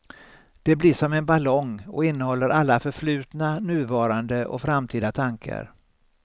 Det blir som en ballong och innehåller alla förflutna, nuvarande och framtida tankar.